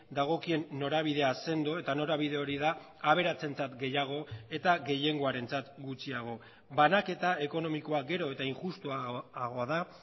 dagokien norabidea sendo eta norabide hori da aberatsentzat gehiago eta gehiengoarentzat gutxiago banaketa ekonomikoa gero eta injustuagoa da